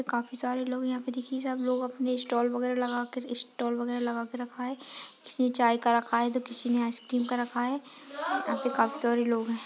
काफी सारे लोग यहाँ पे दिख रहे सब लोग अपने स्टाल वगैरे लगा कर वगैरे लगा कर रख है किसीने चाय का रखा हे तो किसीने आइसक्रीम का रखा है यहाँ पे काफी सारे लोग है।